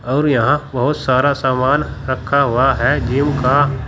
और यहां बहुत सारा सामान रखा हुआ है जिम का।